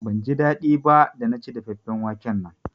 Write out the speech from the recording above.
Ban ji daɗi ba da na ci dafaffen waken nan